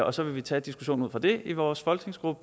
og så vil vi tage diskussionen ud fra det i vores folketingsgruppe